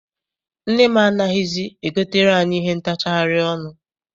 Nne m anaghịzi e gotere anyị ihe ntachari ọnụ.